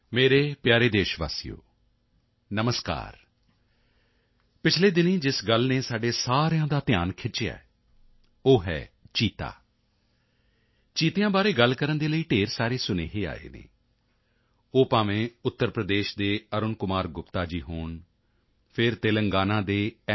ਮੇਰੇ ਪਿਆਰੇ ਦੇਸ਼ਵਾਸੀਓ ਨਮਸਕਾਰ ਪਿਛਲੇ ਦਿਨੀਂ ਜਿਸ ਗੱਲ ਨੇ ਸਾਡੇ ਸਾਰਿਆਂ ਦਾ ਧਿਆਨ ਖਿੱਚਿਆ ਹੈ ਉਹ ਹੈ ਚੀਤਾ ਚੀਤਿਆਂ ਬਾਰੇ ਗੱਲ ਕਰਨ ਦੇ ਲਈ ਢੇਰ ਸਾਰੇ ਸੁਨੇਹੇ ਆਏ ਹਨ ਉਹ ਭਾਵੇਂ ਉੱਤਰ ਪ੍ਰਦੇਸ਼ ਦੇ ਅਰੁਣ ਕੁਮਾਰ ਗੁਪਤਾ ਜੀ ਹੋਣ ਜਾਂ ਫਿਰ ਤੇਲੰਗਾਨਾ ਦੇ ਐੱਨ